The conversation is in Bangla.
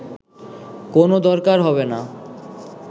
কোন দরকার হবে না